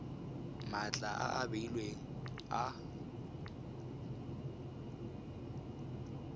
matlha a a beilweng a